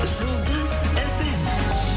жұлдыз фм